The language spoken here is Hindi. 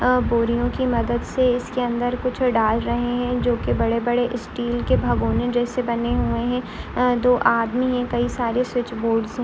अ बोरियों की मदद से इसके अंदर कुछ डाल रहे हैं जो की बड़े-बड़े स्टील के भगोने जैसे बने हुए हैं अ दो आदमी हैं कई सारे स्विच बोर्डस है।